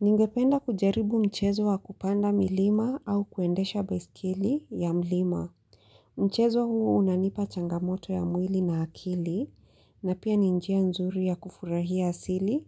Ningependa kujaribu mchezo wa kupanda milima au kuendesha baiskeli ya mlima. Mchezo huu unanipa changamoto ya mwili na akili na pia ni njia nzuri ya kufurahia asili